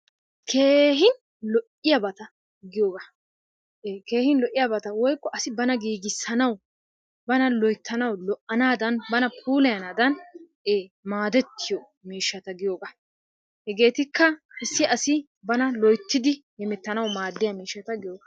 keehin lo'iyabata giyogaa ee keehi lo'iyabata woykko asi bana giigisanawu bana loyttanawu lo'anaadan bana puulayanaadan ee maadettiyo miishshata giyoogaa. Hegeetikka issi asi bana loyttidi hemettanawu maadiya miishshata giyoogaa.